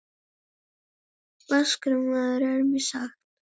Vaskur maður er mér sagt.